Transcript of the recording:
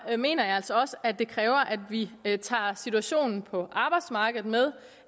mener jeg altså også at det kræver at vi tager situationen på arbejdsmarkedet med